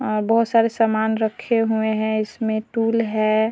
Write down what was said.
बहुत सारे सामान रखे हुए हैं इसमें टूल है।